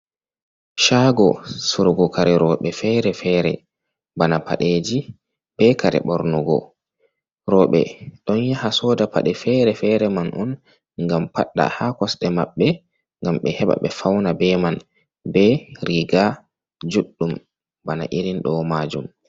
Caago surgugo kare roɓe fere-fere, bana Paɗeeji be kare ɓornugo, roɓe ɗon yaha sooda paɗe fere fere man on ngam fadɗa ha kosɗe mabɓe, ngam ɓe heɓa ɓe fawna be man, ɓe riga juɗɗum bana irin ɗo majum.